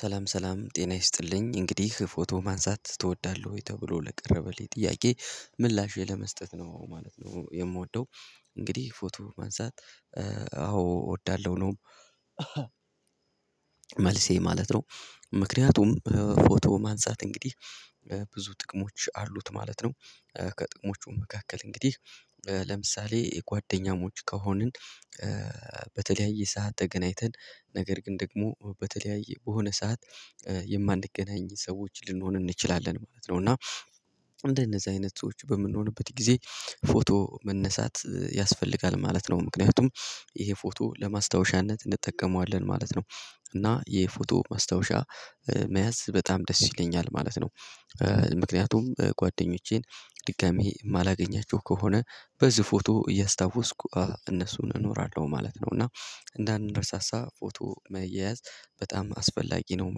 ሰላም ሰላም ጤና ይስጥልኝ እንግዲህ ፎቶ ማንሳት ትወዳለህ ወይ? ተብሎ ለቀረበልኝ ጥያቄ ምላሼ ለመስጠት ነው ማለት ነው የምወደው። እንግዲህ ፎቶ ማንሳት። አዎ እወዳለሁ ነው። መልሴ ማለት ነው። ምክንያቱም ፎቶ ማንሳት እንግዲህ ብዙ ጥቅሞች አሉት ማለት ነው። ከጥቅሞቹ መካከል እንግዲህ ለምሳሌ የጓደኛሞች ከሆንን። በተለያየ ሰዓት ተገናኝተን ነገር ግን ደግሞ በተለያየ በሆነ ሰዓት የማንገናኝ ሰዎች ልንሆን እንችላለን ማለት ነው። እና እንደነዚህ አይነት ሰዎች በምንሆንበት ጊዜ ፎቶ መነሳት ያስፈልጋል ማለት ነው። ምክንያቱም ይሄ ፎቶ ለማስታወሻነት እንጠቀመዋለን ማለት ነው። እና የ ፎቶ ማስታወሻ መያዝ በጣም ደስ ይለኛል ማለት ነው። ምክንያቱም ጓደኞቼን ድጋሚ የማላገኛቸው ከሆነ በዚህ ፎቶ እያስታወስኩ እነሱን እኖራለሁ ማለት ነው። እና እንዳንረሳሳ ፎቶ መያያዝ በጣም አስፈላጊ ነው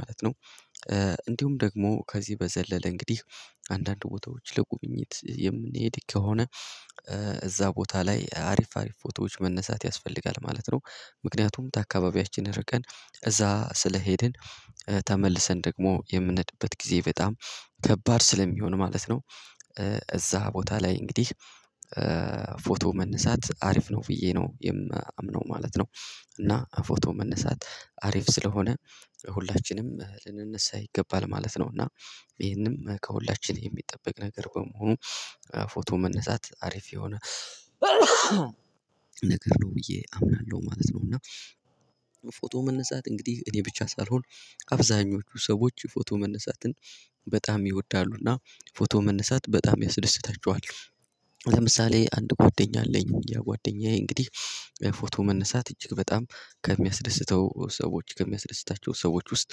ማለት ነው። እንዲሁም ደግሞ ከዚህ በዘለለ እንግዲህ አንዳንድ ቦታዎች ለጉብኝት የምንሄድ ከሆነ። እዛ ቦታ ላይ አሪፍ አሪፍ ፎቶዎች መነሳት ያስፈልጋል ማለት ነው። ምክንያቱም ታካባቢያችን ርቀን እዛ ስለሄድን ተመልሰን ደግሞ የምንሄድበት ጊዜ በጣም ከባድ ስለሚሆን ማለት ነው። እዛ ቦታ ላይ እንግዲህ ፎቶ መነሳት አሪፍ ነው ብዬ ነው የማምነው ማለት ነው። እና ፎቶ መነሳት አሪፍ ስለሆነ ሁላችንም ልንነሳ ይገባል ማለት ነው። እና ይሄንም ከሁላችን የሚጠበቅ ነገር በመሆኑ ፎቶ መነሳት አሪፍ የሆነ ነገር ነው ብዬ አምናለሁ ማለት ነው። እና ፎቶ መነሳት እንግዲህ እኔ ብቻ ሳልሆን አብዛኞቹ ሰዎች ፎቶ መነሳትን በጣም ይወዳሉና ፎቶ መነሳት በጣም ያስደስታቸዋል። ለምሳሌ አንድ ጓደኛ አለኝ እያ ጓደኛዬ እንግዲህ ፎቶ መነሳት እጅግ በጣም ከሚያስደስተው ሰዎች ከሚያስደስታቸው ሰዎች ውስጥ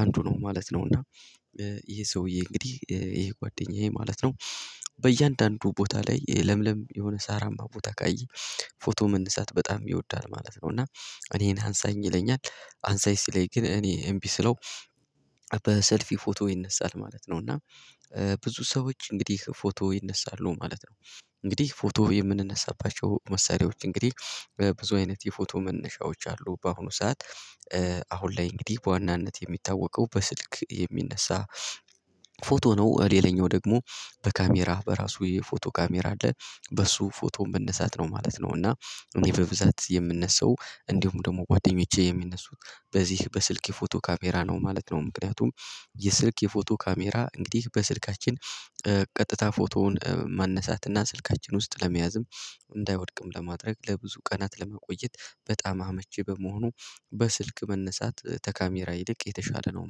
አንዱ ነው ማለት ነው። እና ይሄ ሰውዬ እንግዲህ ይሄ ጓደኛዬ ማለት ነው። በእያንዳንዱ ቦታ ላይ ለምለም የሆነ ሳራማ ቦታ ካየ ፎቶ መነሳት በጣም ይወዳል ማለት ነው። እና እኔን አንሳኝ ይለኛል አንሳኝ ሲለኝ ግን እኔ እምቢ ስለው። በሰልፊ ፎቶ ይነሳል ማለት ነው እና ብዙ ሰዎች እንግዲህ ፎቶ ይነሳሉ ማለት ነው። እንግዲህ ፎቶ የምንነሳባቸው መሳሪያዎች እንግዲህ ብዙ አይነት የፎቶ መነሻዎች አሉ በአሁኑ ሰዓት። አሁን ላይ እንግዲህ በዋናነት የሚታወቀው በስልክ የሚነሳ ፎቶ ነው። ሌላኛው ደግሞ በካሜራህ በራሱ የፎቶ ካሜራ አለ በሱ ፎቶ መነሳት ነው ማለት ነው። እና እኔ በብዛት የምነሳው እንዲሁም ደግሞ ጓደኞቼ የሚነሱት በዚህ በስልክ የፎቶ ካሜራ ነው ማለት ነው። ምክንያቱም የስልክ የፎቶ ካሜራ እንግዲህ በስልካችን ቀጥታ ፎቶውን ማነሳት እና ስልካችን ውስጥ ለመያዝም እንዳይወድቅም ለማድረግ ለብዙ ቀናት ለማቆየት በጣም አመቼ በመሆኑ በስልክ መነሳት ተካሜራ ይልቅ የተሻለ ነው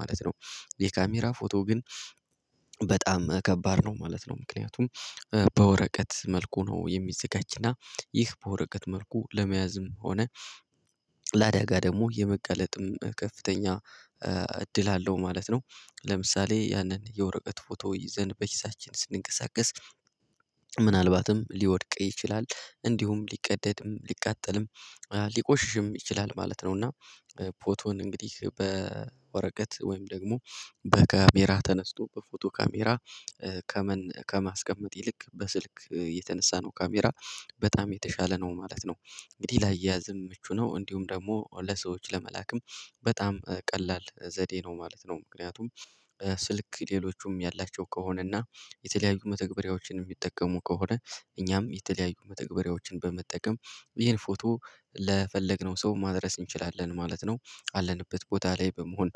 ማለት ነው። የካሜራ ፎቶ ግን በጣም ከባድ ነው ማለት ነው። ምክንያቱም በወረቀት መልኩ ነው የሚዘጋጅና ይህ በወረቀት መልኩ ለመያዝም ሆነ ለአዳጋ ደግሞ የመጋለጥም ከፍተኛ እድል አለው ማለት ነው። ለምሳሌ ያንን የወረቀት ፎቶ ይዘን በኪሳችን ስንንቀሳቀስ ምናልባትም ሊወድቅ ይችላል። እንዲሁም ሊቀደድም ሊቃጠልም ሊቆሽሽም ይችላል ማለት ነው። እና ፎቶን እንግዲህ በወረቀት ወይም ደግሞ በካሜራ ተነስቶ በፎቶ ካሜራ ከማስቀመጥ ይልቅ በስልክ የተነሳናው ካሜራ በጣም የተሻለ ነው ማለት ነው። እንግዲህ ላየያዝም ምቹ ነው እንዲሁም ደግሞ ለሰዎች ለመላክም በጣም ቀላል ዘዴ ነው ማለት ነው። ምክንያቱም ስልክ ሌሎቹም ያላቸው ከሆነና የተለያዩ መተግበሪያዎችን እሚጠቀሙ ከሆነ እኛም የተለያዩ መተግበሪያዎችን በመጠቀም ይሄን ፎቶ ለፈለግነው ሰው ማድረስ እንችላለን ማለት ነው። አለንበት ቦታ ላይ በመሆን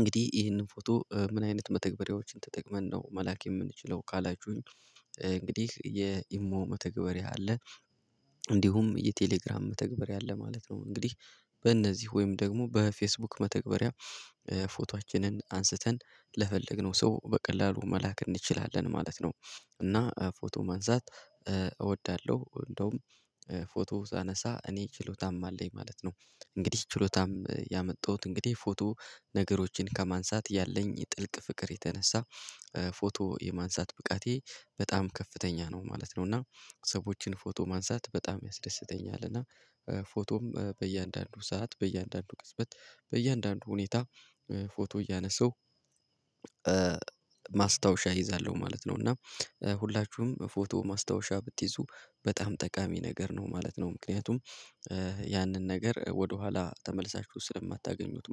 እንግዲህ ይህንን ፎቶ ምን አይነት መተግበሪያዎችን ተጠቅመን ነው መላክ የምንችለው ካላችሁኝ? እንግዲህ የኢሞ መተግበርያ አለ። እንዲሁም የቴሌግራም መተግበርያ አለ ማለት ነው እንግዲህ በእነዚህ ወይም ደግሞ በፌስቡክ መተግበሪያ ፎቶአችንን አንስተን ለፈለግነው ሰው በቀላሉ መላክ እንችላለን ማለት ነው። እና ፎቶ ማንሳት እወዳለሁ እንዲያውም ፎቶ ሳነሳ እኔ ችሎታም አለኝ ማለት ነው። እንግዲህ ችሎታም ያመጣሁት እንግዲህ ፎቶ ነገሮችን ከማንሳት ያለኝ ጥልቅ ፍቅር የተነሳ ፎቶ የማንሳት ብቃቴ በጣም ከፍተኛ ነው ማለት ነው። እና ሰዎችን ፎቶ ማንሳት በጣም ያስደስተኛል እና ፎቶም በእያንዳንዱ ሰዓት በእያንዳንዱ ቅጽበት በእያንዳንዱ ሁኔታ ፎቶ እያነሳው ማስታወሻ እይዛለሁ ማለት ነው። እና ሁላችሁም ፎቶ ማስታወሻ ብትይዙ በጣም ጠቃሚ ነገር ነው ማለት ነው። ምክንያቱም ያንን ነገር ወደኋላ ተመልሳችሁ ስለማታገኙት